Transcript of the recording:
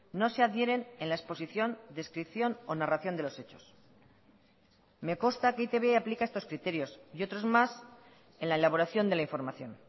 no se adhieren en la exposición descripción o narración de los hechos me consta que e i te be aplica estos criterios y otros más en la elaboración de la información